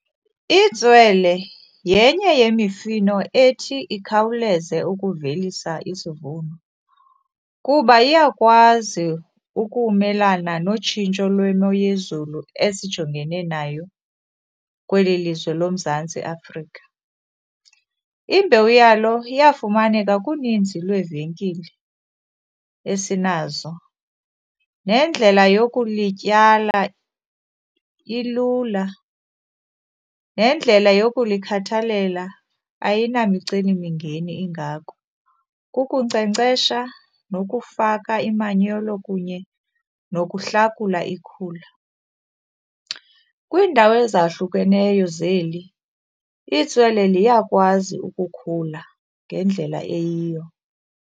Itswele yenye yemifino ethi ikhawuleze ukuvelisa isivuno kuba iyakwazi ukumelana notshintsho lwemo yezulu esijongene nayo kweli lizwe loMzantsi Afrika. Imbewu yalo iyafumaneka kuninzi lweevenkile esinazo. Nendlela yokulityala ilula, nendlela yokulikhathalela ayinamicelimngeni ingako. Kunkcenkcesha nokufaka imanyolo kunye nokuhlakula ikhula. Kwiindawo ezahlukeneyo zeli itswele liyakwazi ukukhula ngendlela eyiyo.